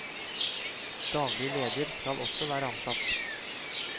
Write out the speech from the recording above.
Daglig leder skal også være ansatt.